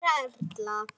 Kæra Erla.